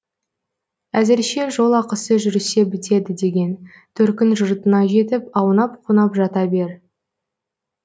әзірше жолақысы жүрсе бітеді деген төркін жұртыңа жетіп аунап қунап жата бер